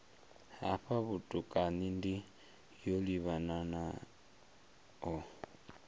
hafha vhutukani ndi yo livhanaho